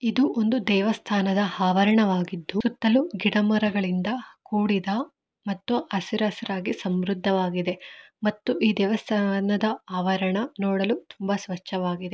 ಇದು ಒಂದು ದೇವಸ್ಥಾನದ ಆವರಣವಾಗಿದ್ದು ಸುತ್ತಲೂ ಗಿಡ ಮರಗಳಿಂದ ಕೂಡಿದ ಮತ್ತು ಹಸಿರ ಹಸಿರ ಹಾಗಿ ಸಮೃದ್ಧವಾಗಿದೆ ಮತ್ತು ಈ ದೇವಸ್ಥಾನದ ಆವರಣ ನೋಡಲು ತುಂಬಾ ಸ್ವಚಾವಾಗಿದೆ.